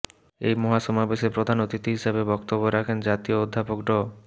এ মহাসমাবেশে প্রধান অতিথি হিসেবে বক্তব্য রাখেন জাতীয় অধ্যাপক ড